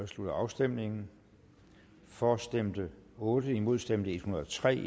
slutter afstemningen for stemte otte imod stemte en hundrede og tre